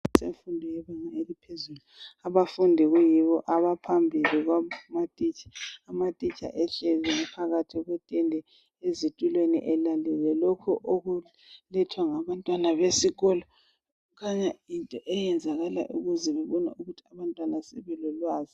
Esikolo semfundo yebanga eliphezulu, abafundi kuyibo abaphambili kwamatitsha. Amatitsha ehleli phakathi kwetende ezitulweni elalele lokhu okulethwa ngabantwana besikolo. Kukhanya yinto eyenzakalayo ukuze bebone ukuthi abantwana sebelolwazi